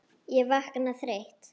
Ég vakna þreytt.